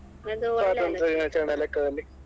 ಸ್ವಾತಂತ್ರ್ಯ ದಿನಾಚರಣೆಯ ಲೆಕ್ಕದಲ್ಲಿ.